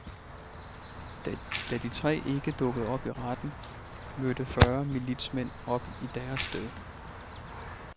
Da de tre ikke dukkede op i retten, mødte fyrre militsmænd op i deres sted.